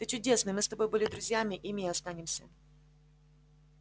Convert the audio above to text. ты чудесный мы с тобой были друзьями ими и останемся